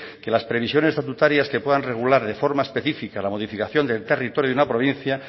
que las previsiones estatutarias se puedan regular de forma específica la modificación del territorio de una provincia